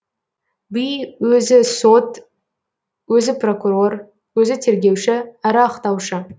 би өзі сот өзі прокурор өзі тергеуші әрі ақтаушы